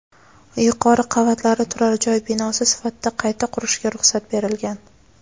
yuqori qavatlari turar joy binosi sifatida qayta qurishga ruxsat berilgan.